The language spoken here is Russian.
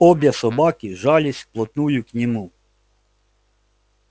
обе собаки жались вплотную к нему